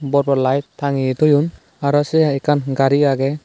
bor bor lite tangye toyon aro sey hai ekkan gari agey.